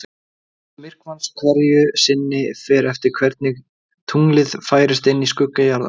Gerð myrkvans hverju sinni fer eftir því hvernig tunglið færist inn í skugga jarðar.